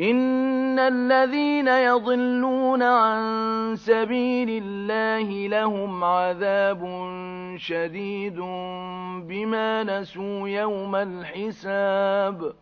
إِنَّ الَّذِينَ يَضِلُّونَ عَن سَبِيلِ اللَّهِ لَهُمْ عَذَابٌ شَدِيدٌ بِمَا نَسُوا يَوْمَ الْحِسَابِ